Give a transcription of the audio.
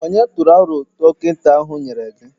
Ònye tụrụ aro dọkịta ahụ nye gị?